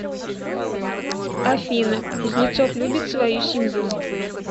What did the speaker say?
афина кузнецов любит свою семью